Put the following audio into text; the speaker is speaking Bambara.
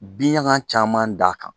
Binɲaga caman da a kan